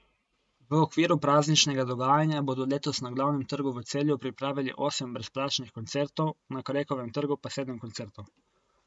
V okviru prazničnega dogajanja bodo letos na Glavnem trgu v Celju pripravili osem brezplačnih koncertov, na Krekovem trgu pa sedem koncertov.